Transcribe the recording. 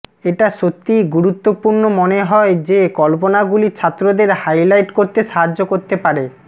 এটা সত্যিই গুরুত্বপূর্ণ মনে হয় যে কল্পনাগুলি ছাত্রদের হাইলাইট করতে সাহায্য করতে পারে